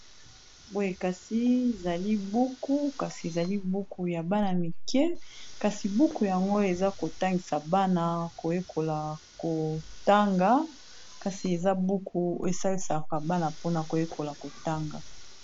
boye kasi zali buku kasi ezali buku ya bana mike kasi buku yango eza kotangisa bana koyekola kotanga kasi eza buku esalisaka bana mpona koyekola kotanga